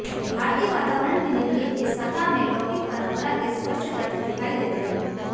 भारतीय वातावरण में निर्मित इस कथा में लौकिक परंपरा के स्पष्ट तत्व दिखाई देते हैं